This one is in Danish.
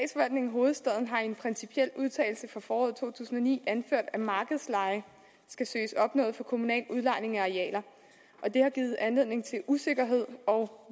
hovedstaden har i en principiel udtalelse fra foråret to tusind og ni anført at markedsleje skal søges opnået for kommunal udlejning af arealer og det har givet anledning til usikkerhed og